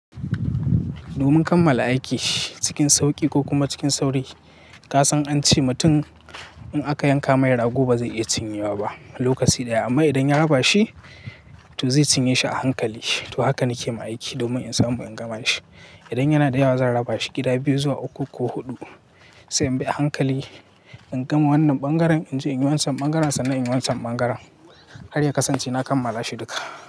Domin kammala aiki cikin sauƙi ko kuma cikin sauri. Ka san an ce mutum in aka yanka mai rago ba zai iya cinye wa ba lokaci ɗaya amma idan ya raba shi to zai cinye shi a hankali. To haka nake ma aiki domin in samu ingama shi. Idan yana da yawa zan raba shi gida biyu zuwa uku ko huɗu sai inbi a hankali ingama wannan ɓangaren inje inyi wancan ɓangaren, sannan inyi wancan ɓangaren har ya kasance na kammala shi duka.